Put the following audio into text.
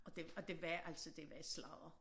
Og det og det var altså det var sladder